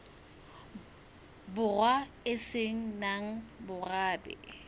borwa e se nang morabe